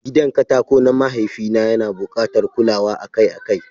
Gidan katako na mahaifi na yana bukatar kulawa akai-akai.